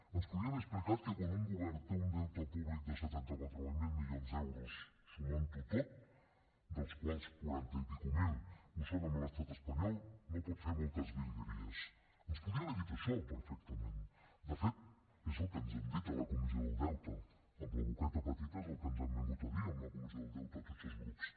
ens podia haver explicat que quan un govern té un deute públic de setanta quatre mil milions d’euros sumant ho tot dels quals quaranta miler i escaig ho són amb l’estat espanyol no pot fer moltes virgueríasde fet és el que ens han dit a la comissió del deute amb la boqueta petita és el que ens han vingut a dir en la comissió del deute a tots els grups